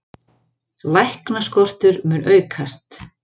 Læknaskortur mun aukast